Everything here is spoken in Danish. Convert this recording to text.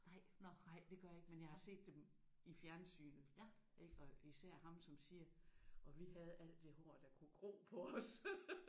Nej nej det gør jeg ikke men jeg har set dem i fjernsynet ik og især ham som siger og vi havde alt det hår der kunne gro på os